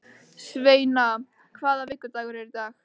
Sveina, hvaða vikudagur er í dag?